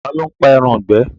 Ta ló ń pa ẹran ìgbẹ́?